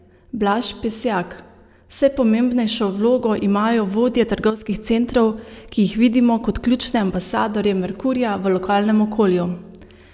Blaž Pesjak: "Vse pomembnejšo vlogo imajo vodje trgovskih centrov, ki jih vidimo kot ključne ambasadorje Merkurja v lokalnem okolju.